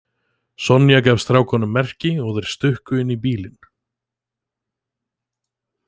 Sonja gaf strákunum merki og þeir stukku inn í bílinn.